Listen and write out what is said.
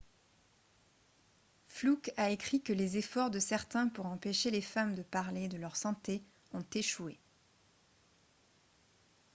fluke a écrit que les efforts de certains pour empêcher les femmes de parler de leur santé ont échoué